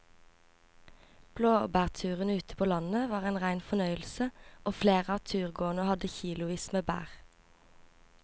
Blåbærturen ute på landet var en rein fornøyelse og flere av turgåerene hadde kilosvis med bær.